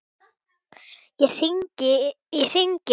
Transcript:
Þá hringir síminn.